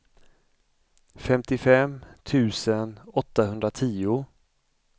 femtiofem tusen åttahundratio